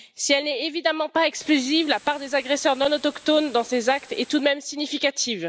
Si elle n'est évidemment pas exclusive, la part des agresseurs non autochtones dans ces actes est tout de même significative.